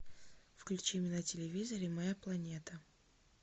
включи мне на телевизоре моя планета